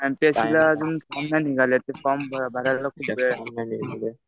एमपीएससीचा अजून फॉर्म नाही निघाले. ते फॉर्म भरायला खूप वेळ आहे.